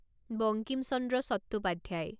Bankim Chandra Chattopadhyay